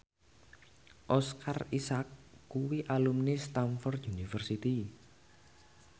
Oscar Isaac kuwi alumni Stamford University